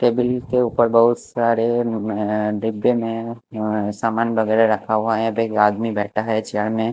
Table के ऊपर बहुत सारे नन डिब्बे में मम समान वगैर रखा हुआ है एक आदमी बैठा है चेयर में।